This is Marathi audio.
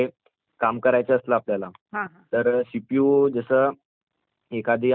तर सीपीयू जसं एखादी आपल्याला फाइल वगैरे काही डाइनलोड करायची असली